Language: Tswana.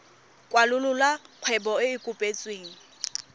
kwalolola kgwebo e e kopetsweng